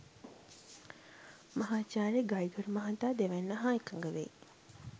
මහාචාර්ය ගෛගර් මහතා දෙවැන්න හා එකඟ වෙයි.